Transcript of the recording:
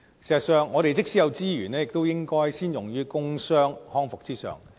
事實上，我們即使有資源，亦應該先用於工傷康復之上。